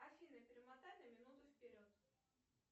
афина перемотай на минуту вперед